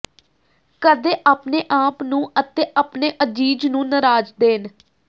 ਕਦੇ ਆਪਣੇ ਆਪ ਨੂੰ ਅਤੇ ਆਪਣੇ ਅਜ਼ੀਜ਼ ਨੂੰ ਨਾਰਾਜ਼ ਦੇਣ